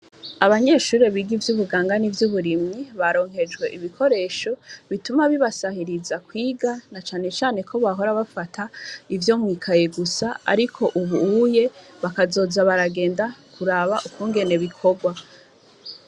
Abanyeshuri biga ivy'ubuganga n'ivy'uburimyi ,baronkejwe ibikoresho bituma bibasahiriza mukwiga, na cane cane ko bahora bafata ivyo mwikaye gusa, ariko ubuye bakazoza baragenda kuraba kuraba ukugene bikorwa.